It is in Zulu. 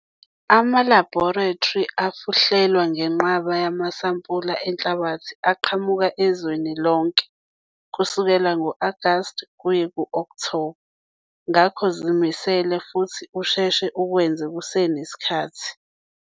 Ama-laboratory afuhlelwa ngenqwaba yamasampula enhlabathi aqhamuka ezweni lonke kusukela ngo-Agasti kuye ku-Okthoba ngakho zimisele futhi usheshe ukwenze kusenesikhathi.